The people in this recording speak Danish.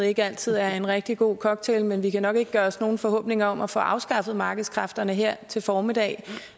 ikke altid er en rigtig god cocktail men vi kan nok ikke gøre os nogen forhåbninger om at få afskaffet markedskræfterne her til formiddag